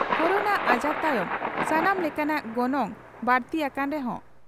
corona ᱟᱡᱟᱨ ᱛᱟᱭᱚᱢ ᱥᱟᱱᱟᱢ ᱞᱮᱠᱟᱱᱟᱜ ᱜᱚᱱᱚᱝ ᱵᱟᱹᱲᱛᱤ ᱟᱠᱟᱱ ᱨᱮᱦᱚᱸ